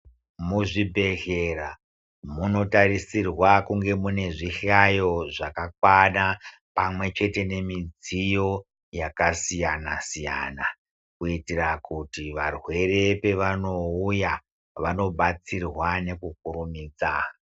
Muzvibhehleya munotarisirwa kunge munezvi hlayo zvakakwana pamwechete nemidziyo yakasiyana siyana kuitira kuti varwere pavanouya vanobatsirwa nekukurumidza.